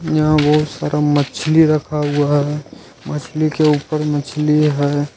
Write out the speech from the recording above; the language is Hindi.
यहां बहुत सारा मछली रखा हुआ है मछली के ऊपर मछली है।